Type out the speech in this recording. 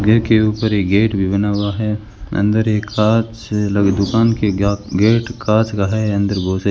के ऊपर एक गेट भी बना हुआ है अंदर एक कांच लगे दुकान के गेट कांच का है अंदर बहोत से --